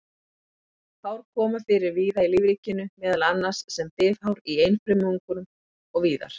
Hár koma fyrir víða í lífríkinu, meðal annars sem bifhár í einfrumungum og víðar.